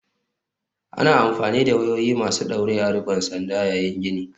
Ana amfani da wayoyi masu ɗaure a riƙon sanda yayin gini.